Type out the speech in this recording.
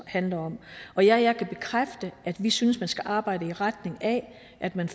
handler om og ja jeg kan bekræfte at vi synes man skal arbejde i retning af at man